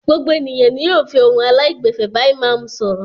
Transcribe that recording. Gbogbo ènìyàn ni yóò fi ohun aláìgbẹ̀fẹ̀ bá ìmáámù sọ̀rọ̀.